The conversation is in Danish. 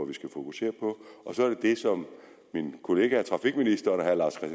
vi skal fokusere på og så er det det som min kollega trafikministeren og herre lars